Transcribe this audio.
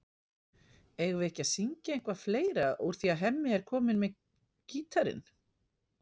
Eigum við ekki að syngja eitthvað fleira úr því að Hemmi er kominn með gítarinn?